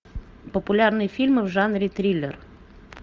популярные фильмы в жанре триллер